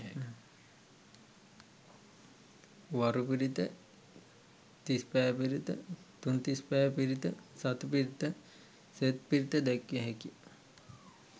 වරු පිරිත, තිස් පෑ පිරිත, තුන් තිස් පෑ පිරිත, සති පිරිත, සෙත් පිරිත දැක්විය හැකිය.